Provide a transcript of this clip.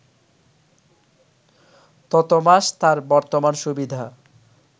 ততমাস তার বর্তমান সুবিধা